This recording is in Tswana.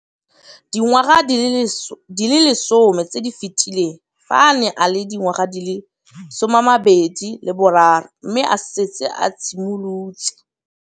Dingwaga di le 10 tse di fetileng, fa a ne a le dingwaga di le 23 mme a setse a itshimoletse